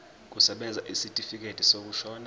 kusebenza isitifikedi sokushona